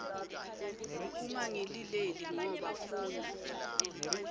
ungangilileli ngoba funa